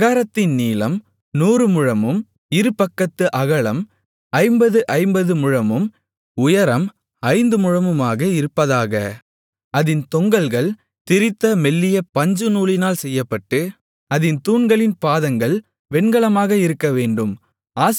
பிராகாரத்தின் நீளம் நூறுமுழமும் இருபக்கத்து அகலம் ஐம்பது ஐம்பது முழமும் உயரம் ஐந்து முழமுமாக இருப்பதாக அதின் தொங்கல்கள் திரித்த மெல்லிய பஞ்சுநூலினால் செய்யப்பட்டு அதின் தூண்களின் பாதங்கள் வெண்கலமாக இருக்கவேண்டும்